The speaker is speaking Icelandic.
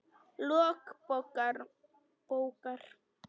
Lok bókar